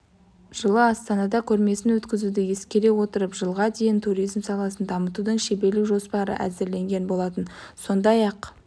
жылы астанада көрмесін өткізуді ескере отырып жылға дейін туризм саласын дамытудың шеберлік жоспары әзірленген болатын сондай-ақ